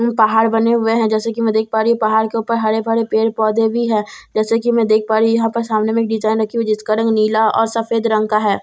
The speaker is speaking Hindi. ऊं पहाड़ बने हुए हैं जैसे कि मैं देख पा रही हूं पहाड़ के ऊपर हरे भरे पेड़ पौधे भी है जैसे कि मैं देख पा रही हूं यहां पर सामने में डिजाइन है जो नीला और सफेद रंग का है।